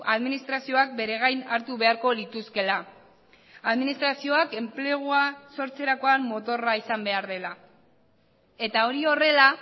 administrazioak bere gain hartu beharko lituzkeela administrazioak enplegua sortzerakoan motorra izan behar dela eta hori horrela